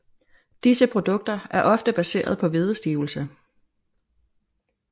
Disse produkter er ofte baseret på hvedestivelse